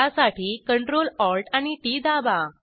त्यासाठी CTRL ALT आणि TT दाबा